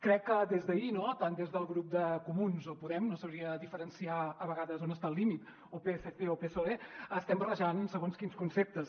crec que des d’ahir no tant des del grup de comuns o podem no sabria diferenciar a vegades on està el límit o psc o psoe estem barrejant segons quins conceptes